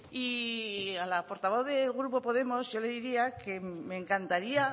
y a la portavoz del grupo podemos yo le diría que me encantaría